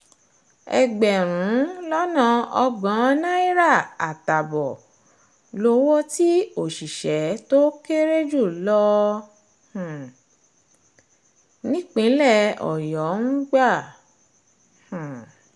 ẹgbẹ̀rún lọ́nà ọgbọ́n náírà àtààbọ̀ lọ́wọ́ tí òṣìṣẹ́ tó kéré jù lọ um nípínlẹ̀ ọ̀yọ́ ń gbà um